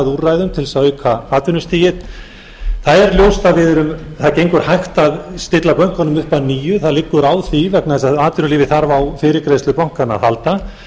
úrræðum til að auka atvinnustigið það er ljóst að það gengur hægt að stilla bönkunum upp að nýju það liggur á því vegna þess að atvinnulífið þarf á fyrirgreiðslu bankanna að halda